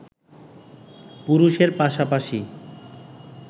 পুরুষের পাশাপাশি